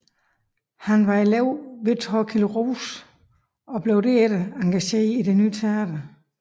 Han var elev hos Thorkild Roose og blev derefter engageret til Det Ny Teater